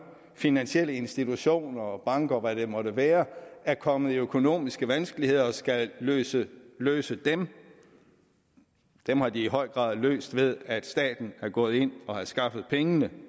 finansielle institutioner og banker hvad det måtte være er kommet i økonomiske vanskeligheder og skal løse løse dem dem har de i høj grad fået løst ved at staten er gået ind og har skaffet pengene